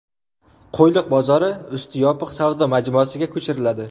Qo‘yliq bozori usti yopiq savdo majmuasiga ko‘chiriladi .